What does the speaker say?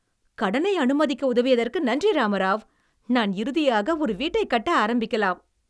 கடனை அனுமதிக்க உதவியதற்கு நன்றி ராமராவ். நான் இறுதியாக ஒரு வீட்டைக் கட்ட ஆரம்பிக்கலாம்.